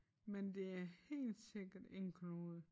Men det er helt sikkert en knude